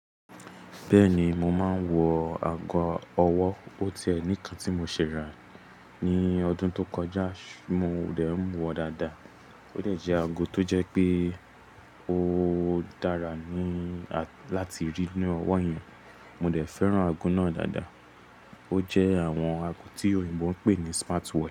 Bẹ́ẹ̀ni, mo máa ń wọ ago ọwọ́. Ó tẹ́ ní ìkàn tí mo ṣẹ̀ rà á ní ọdún tó kọjá, mo dẹ̀ ń wọ dáadáa. Ó dẹ̀ jẹ́ ago tó jẹ́ pé ó dára láti rí ní ọwọ́ èèyàn. Mo dẹ̀ fẹ́ràn ago náà dáadáa. Ó jẹ́ àwọn ago tí òyìnbó ń pè ní "smart watch".